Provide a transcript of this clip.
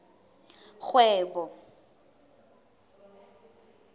kgwebo